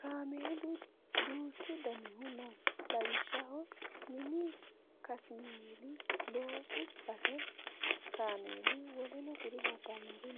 Kaamelu duuchu danihu no. Lawishshaho mini kasmeeli, loosu base kaameli, w.k.l